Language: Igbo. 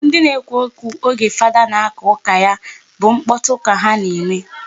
Ndị na-ekwu okwu oge fada na-aka ụka ya bụ mkpọtụ ka ha na-eme.